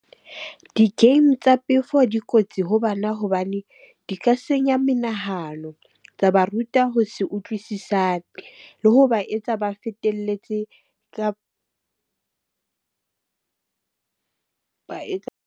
Di-game tsa pefo dikotsi ho bana hobane di ka senya menahano, tsa ba ruta ho se utlwisisane le ho ba etsa ba fetelletse ba etsa.